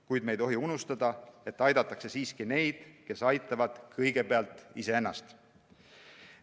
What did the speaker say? Kuid me ei tohi unustada, et aidatakse siiski neid, kes aitavad kõigepealt iseennast.